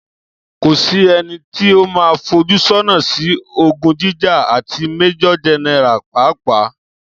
Kò sí ẹnití o man fojúsọ́nà sí ogún jíjà, àti Májòr Générà pàápàá